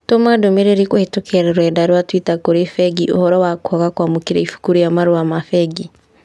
Tũma ndũmĩrĩri kũhĩtũkĩra rũrenda rũa tũita kũrĩ bengi ũhoro wa kwaga kwamũkĩra ibuku rĩa marũa ma bengi